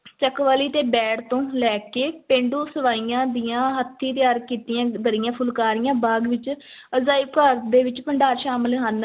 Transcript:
ਚਕਵਾਲੀ ਤੇ ਬੈੜ ਤੋਂ ਲੈ ਕੇ ਪੇਂਡੂ ਸਵਾਈਆਂ ਦੀਆਂ ਹੱਥੀਂ ਤਿਆਰ ਕੀਤੀਆਂ ਦਰੀਆਂ, ਫੁਲਕਾਰੀਆਂ ਬਾਗ਼ ਵਿੱਚ ਅਜਾਇਬ ਘਰ ਦੇ ਵਿੱਚ ਭੰਡਾਰ ਸ਼ਾਮਲ ਹਨ।